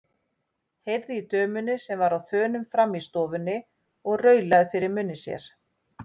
Heyrði í dömunni sem var á þönum frammi í stofunni og raulaði fyrir munni sér.